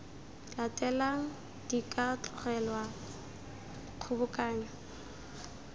latelang di ka tlogelwa kgobokanyo